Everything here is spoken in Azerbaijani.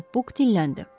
Cənab Buk dilləndi.